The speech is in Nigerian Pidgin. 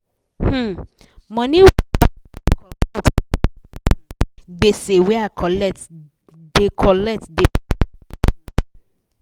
um money wey bank da comot untop um gbese wey i colet da colet da para me um